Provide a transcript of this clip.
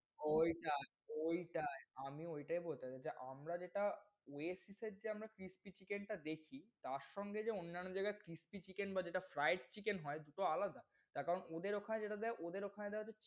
ওইটায় ওইটায়, আমি ওইটায় বলতে চাচ্ছি, আমরা যেটা Oasis এর যে আমরা crispy chicken টা দেখি তার সঙ্গে অন্যান্য জায়গার crispy chicken বা যেটা fried chicken হয় সে তো আলাদা। তার কারণ ওদের ওখানে যেটা দেয় ওদের ওখানে দেয় হচ্ছে,